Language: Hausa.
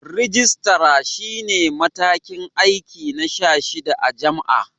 Rijistara shi ne matakin aiki na 16 a jam'a.